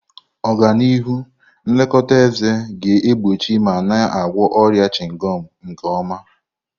Ọganihu nlekọta eze ga-egbochi ma na-agwọ ọrịa chịngọm nke ọma.